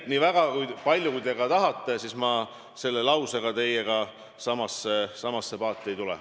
Nii et kui palju te ka ei taha, ma selle lausega teiega samasse paati ei tule.